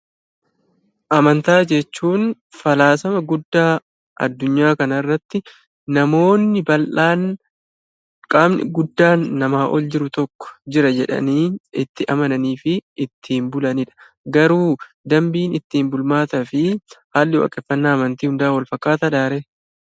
Amantaa jechuun falaasama guddaa addunyaa kanarratti namoonni bal'aan "qaamni guddaan namaa ol jiru tokko jira" jedhanii itti amananii fi ittiin bulanii dha. Garuu dambiin ittiin bulmaataa fi haalli waaqeffannaa amantii hundaa walfakkaataa dhaa ree?